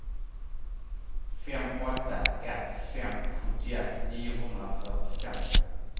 fem åtta ett fem sjuttioett niohundrafyrtiofem